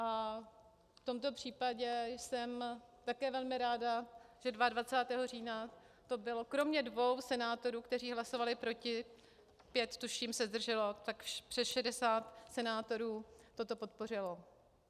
A v tomto případě jsem také velmi ráda, že 22. října to bylo kromě dvou senátorů, kteří hlasovali proti, pět, tuším, se zdrželo, tak přes 60 senátorů toto podpořilo.